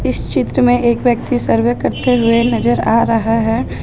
इस चित्र में एक व्यक्ति सर्वे करते हुए नजर आ रहा है।